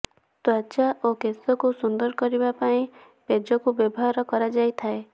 ତ୍ୱଚା ଓ କେଶକୁ ସୁନ୍ଦର କରିବା ପାଇଁ ପେଜକୁ ବ୍ୟବହାର କରାଯାଇଥାଏ